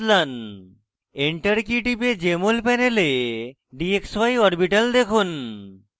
enter key টিপে jmol panel dxy orbital দেখুন